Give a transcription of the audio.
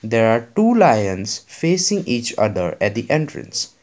there are two lions facing each other at the entries.